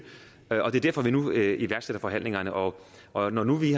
det er derfor vi nu iværksætter forhandlingerne og og når nu vi